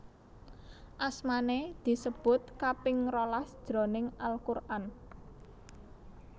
Asmané disebut kaping rolas jroning Al Quran